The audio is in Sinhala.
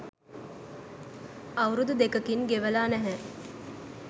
අවුරුදු දෙකකින් ගෙවලා නැහැ.